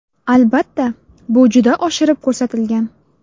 Albatta, bu juda oshirib ko‘rsatilgan.